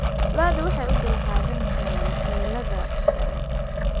Lo'du waxay u dulqaadan karaan cimilada daran.